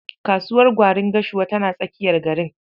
Kasuwar gwarin Gashuwa tana tsakiyar garin.